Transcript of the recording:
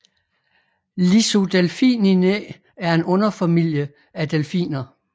Lissodelphininae er en underfamilie af delfiner